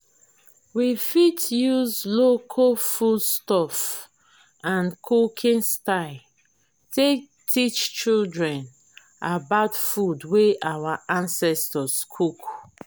we fit use local food stuff and cooking style take teach children about food wey our ancestor cook